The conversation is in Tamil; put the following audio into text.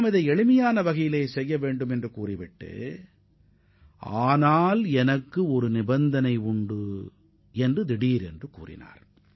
இதனை மிகமிக சாதாரண ஒரு வைபகமாகவே கருத வேண்டும் என்று கூறிய அவர் திடீரென ஒரு நிபந்தனையை விதித்துள்ளார்